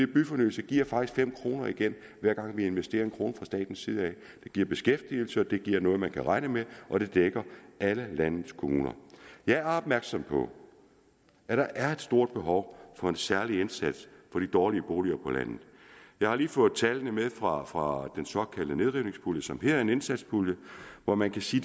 byfornyelse giver faktisk fem kroner igen hver gang vi investerer en kroner fra statens side det giver beskæftigelse det giver noget man kan regne med og det dækker alle landets kommuner jeg er opmærksom på at der er et stort behov for en særlig indsats for de dårlige boliger på landet jeg har lige fået tallene med fra fra den såkaldte nedrivningspulje som her er en indsatspulje hvor man kan se